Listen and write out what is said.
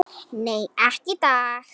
Nei, ekki í dag.